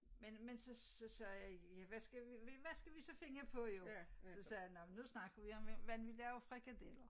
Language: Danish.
Men men så så sagde jeg ja hvad skal vi ja hvad skal vi så finde på jo så sagde jeg nå men nu snakker vi om hvordan vi laver frikadeller